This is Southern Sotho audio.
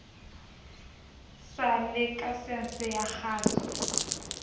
sa lakesense ya kgaso ya